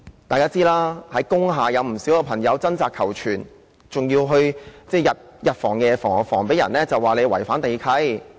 大家也知道，在工廈有不少朋友正在掙扎求存，他們還要日防夜防，免被指違反地契。